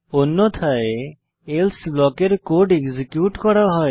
অন্যথায় এলসে ব্লকের code execute করা হয়